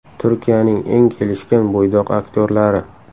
Turkiyaning eng kelishgan bo‘ydoq aktyorlari.